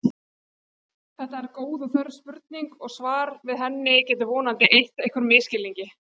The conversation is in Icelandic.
Þetta er góð og þörf spurning og svar við henni getur vonandi eytt einhverjum misskilningi.